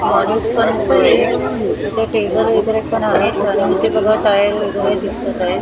इथे टेबल वैगेरे पण आहेत इथे बघा टायर वगैरे दिसत आहेत.